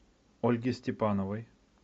ольге степановой